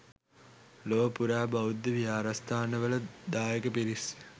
ලොව පුරා බෞද්ධ විහාරස්ථානවල දායක පිරිස්